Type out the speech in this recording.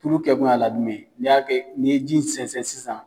Furu kɛ kun y'a la jumɛn ye ? Ni y'a kɛ n'i ye ji in sɛnsɛn sisan